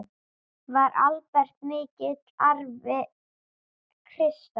Var Albert mikill afi, Krissa?